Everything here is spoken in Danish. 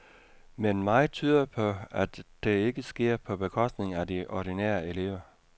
Men meget tyder på, at det ikke sker på bekostning af de ordinære elever.